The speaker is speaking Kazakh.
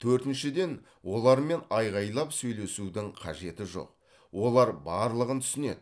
төртіншіден олармен айғайлап сөйлесудің қажеті жоқ олар барлығын түсінеді